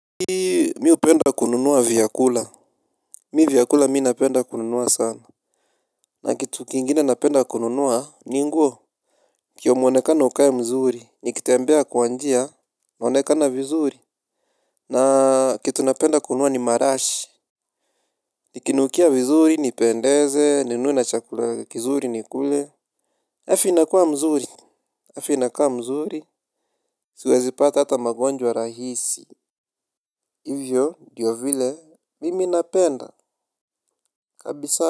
Mimi hupenda kununua vyakula. Mimi vyakula mimi napenda kununua sana. Na kitu kingine napenda kununua ni nguo. Kimwonekano ukae mzuri. Nikitembea kwa njia naonekana vizuri. Na kitu napenda kununua ni marashi. Nikinukia vizuri nipendeze ninunune na chakula kizuri nikule. Afya inakuwa mzuri. Afya inakuwa mzuri. Siwezipata hata magonjwa rahisi. Hivyo ndivyo vile mimi napenda kabisa. Kwa hivyo.